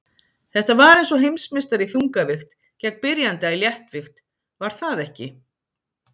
Þetta var eins og heimsmeistari í þungavigt gegn byrjanda í léttvigt var það ekki?